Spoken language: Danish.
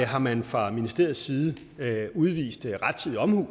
har man fra ministeriets side udvist rettidig omhu